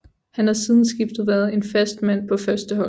Han har siden skiftet været en fast mand på førsteholdet